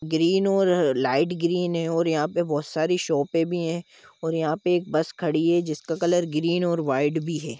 Green और light green है और यहाँ पे बहुत सारी शोपे भि है और यहाँ पे एक बस खड़ी है जिस का कलर ग्रीन और वाइट भी है।